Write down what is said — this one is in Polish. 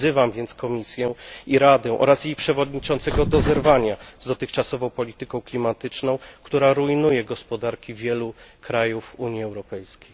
Wzywam więc Komisję i Radę oraz jej przewodniczącego do zerwania z dotychczasową polityką klimatyczną, która rujnuje gospodarki wielu krajów Unii Europejskiej.